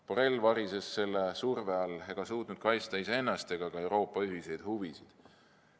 Borrell varises selle surve all ning ei suutnud kaitsta iseennast ega ka Euroopa ühiseid huvisid.